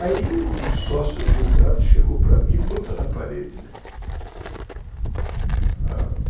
Aí o sócio do meu cunhado chegou para mim e botou na parede, né?